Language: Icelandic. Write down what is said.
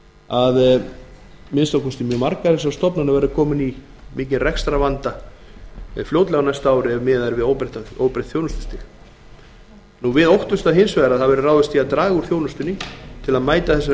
að þessar stofnanir verði fljótlega komnar í mikinn rekstrarvanda ef miðað er við óbreytt þjónustustig minni hlutinn óttast að ráðist verði í að draga úr þjónustu til að mæta þessum